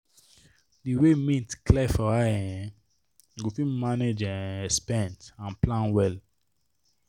di way mint clear for eye um you go fit manage your um expense and plan well.